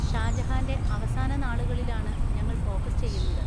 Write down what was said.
ഷാജഹാൻ്റെ അവസാന നാളുകളിലാണ് ഞങ്ങൾ ഫോക്കസ് ചെയ്യുന്നത്.